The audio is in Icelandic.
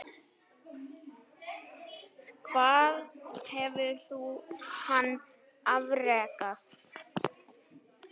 Hvað hefur hann afrekað?